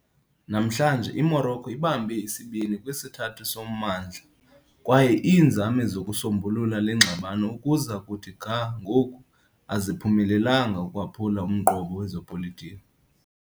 Namhlanje, iMorocco ibambe isibini kwisithathu sommandla, kwaye iinzame zokusombulula le ngxabano ukuza kuthi ga ngoku aziphumelelanga ukwaphula umqobo wezopolitiko.